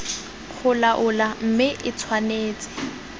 go laola mme e tshwanetse